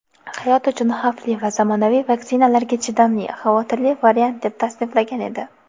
hayot uchun xavfli va zamonaviy vaksinalarga chidamli "xavotirli variant" deb tasniflagan edi.